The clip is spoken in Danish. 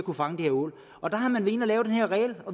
at fange ål